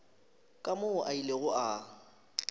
ka moo a ilego a